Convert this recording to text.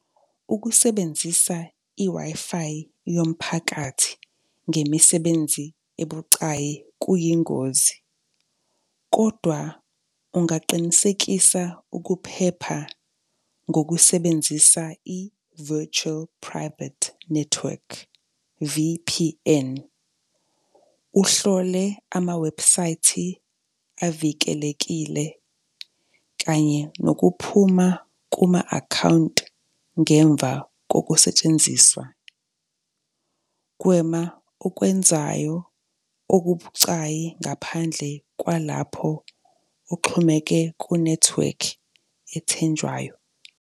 Ukusebenzisa i-Wi-Fi yomphakathi ngemisebenzi ebucayi kuyingozi, kodwa ungaqinisekisa ukuphepha ngokusebenzisa i-virtual private network, V_P_N. Uhlole amawebhusayithi avikelekile, kanye nokuphuma kuma-akhawunti ngemva kokusetshenziswa. Gwema okwenzayo okubucayi ngaphandle kwalapho kuxhumeke kunethiwekhi ethenjwayo.